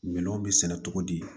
Minɛnw bɛ sɛnɛ cogo di